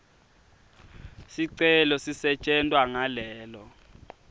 sicelo sisetjentwa ngalelo